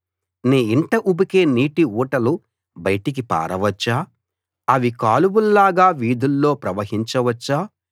నీ ఇంట ఉబికే నీటి ఊటలు బయటికి పారవచ్చా అవి కాలువల్లాగా వీధుల్లో ప్రవహించవచ్చా